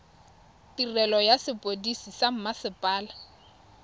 tirelo ya sepodisi sa mmasepala